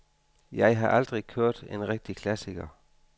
Jeg har aldrig kørt en rigtig klassiker.